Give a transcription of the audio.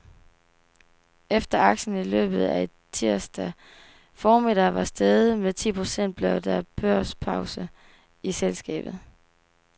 Efter aktien i løbet af tirsdag formiddag var steget med ti procent blev der børspause i selskabet.